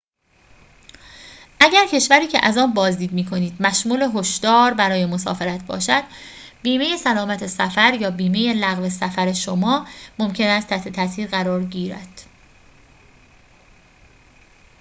اگر کشوری که از آن بازدید می‌کنید مشمول هشدار برای مسافرت باشد بیمه سلامت سفر یا بیمه لغو سفر شما ممکن است تحت تأثیر آن قرار گیرد